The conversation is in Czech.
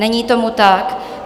Není tomu tak.